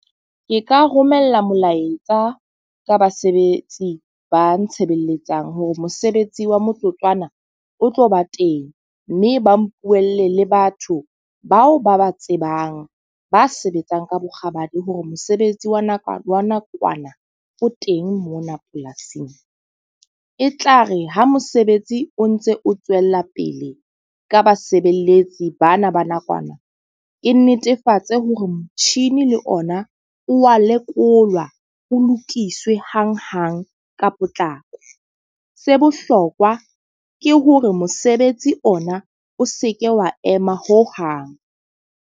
Ke ka romella molaetsa ka basebetsi ba ntshebeletsang, hore mosebetsi wa motsotswana o tlo ba teng. Mme ba mpuella le batho bao ba ba tsebang, ba sebetsang ka bokgabane hore mosebetsi wa nakwana wa nakwana teng mona polasing. E tlare ha mosebetsi o ntse o tswella pele ka basebeletsi bana ba nakwana. Ke netefatse hore motjhini le ona wa lekolwa ho lokiswe hang hang ka potlako. Se bohlokwa ke hore mosebetsi ona o seke wa ema ho hang.